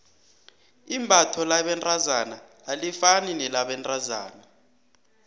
imbatho labentazana alifani nelabentazana